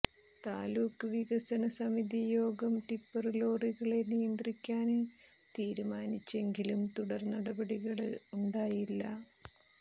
താലൂക്ക് വികസനസമിതി യോഗം ടിപ്പര് ലോറികളെ നിയന്ത്രിക്കാന് തീരുമാനിച്ചെങ്കിലും തുടര് നടപടികള് ഉണ്ടായില്ല